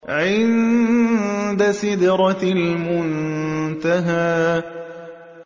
عِندَ سِدْرَةِ الْمُنتَهَىٰ